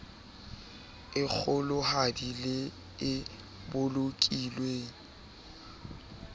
e kgolohadi le e bolokilweng